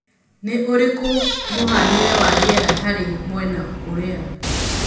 nĩ ũrikũ mũhanĩre wa rĩera harĩ mwena ũria